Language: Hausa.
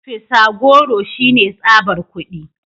Fisa goro shine tsabar kudi